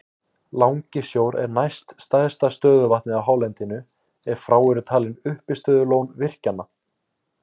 Langisjór er næst stærsta stöðuvatnið á hálendinu ef frá eru talin uppistöðulón virkjanna.